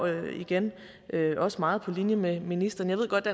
jeg igen også meget på linje med ministeren jeg ved godt